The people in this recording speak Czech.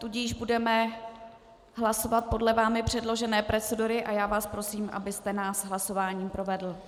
Tudíž budeme hlasovat podle vámi předložené procedury a já vás prosím, abyste nás hlasováním provedl.